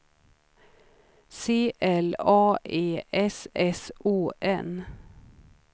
C L A E S S O N